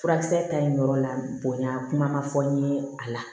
Furakisɛ ta in yɔrɔ la bonya kuma ma fɔ n ye a la